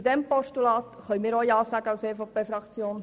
Zu dem Postulat können wir als EVP-Fraktion auch ja sagen.